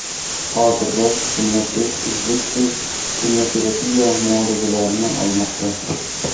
Hozirda Bunyodbek uzluksiz kimyoterapiya muolajalarini olmoqda.